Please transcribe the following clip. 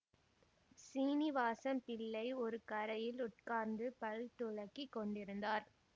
சீனிவாசம் பிள்ளை ஒரு கரையில் உட்கார்ந்து பல் துலக்கிக் கொண்டிருந்தார்